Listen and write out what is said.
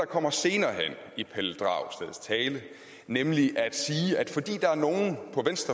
kommer senere hen i pelle dragsteds tale nemlig at sige at fordi der er nogle